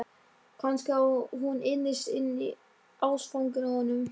Kannski var hún innst inni ástfangin af honum.